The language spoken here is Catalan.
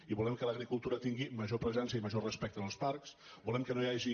i volem que l’agricultura tingui major presència i major respecte als parcs volem que no hi hagi